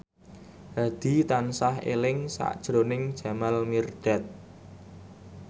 Hadi tansah eling sakjroning Jamal Mirdad